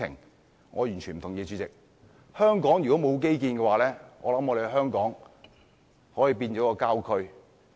代理主席，我完全不同意，香港如果沒有基建，可能已經變成郊區。